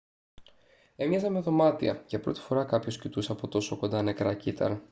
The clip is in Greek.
έμοιαζαν με δωμάτια για πρώτη φορά κάποιος κοιτούσε από τόσο κοντά νεκρά κύτταρα